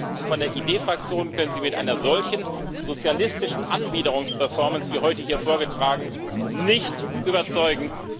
Uns von der ID Fraktion können Sie mit einer solchen sozialistischen Anbiederungs Performance, wie heute hier vorgetragen, nicht überzeugen.